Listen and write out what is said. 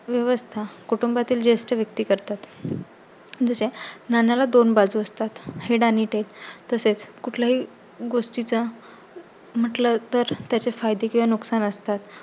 व्यवस्था कुटुंबातील ज्येष्ठ व्यक्ती करतात. जसे नाण्याला दोन बाजू असतात हेड आणि तेल. तसेच कुठल्याही गोष्टीच्या म्हटलं तर त्याचे फायदे किंवा नुकसान असतात.